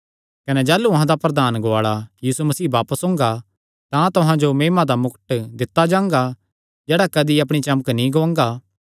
कने जाह़लू अहां दा प्रधान गुआल़ा यीशु मसीह बापस ओंगा तां तुहां जो महिमा दा मुकट दित्ता जांगा जेह्ड़ा कदी अपणी चमक नीं गुआंगा